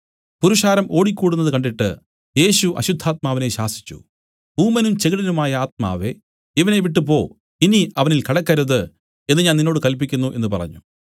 പുരുഷാരം ഓടിക്കൂടുന്നതു കണ്ടിട്ട് യേശു അശുദ്ധാത്മാവിനെ ശാസിച്ചു ഊമനും ചെകിടനുമായ ആത്മാവേ ഇവനെ വിട്ടുപോ ഇനി അവനിൽ കടക്കരുത് എന്നു ഞാൻ നിന്നോട് കല്പിക്കുന്നു എന്നു പറഞ്ഞു